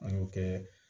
An y'o kɛ